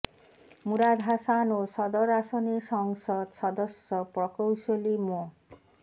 মুরাদ হাসান ও সদর আসনের সংসদ সদস্য প্রকৌশলী মো